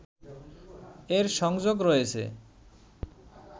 এর সংযোগ রয়েছে